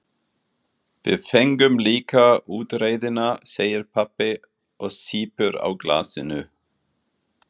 Við fengum líka útreiðina, segir pabbi og sýpur á glasinu.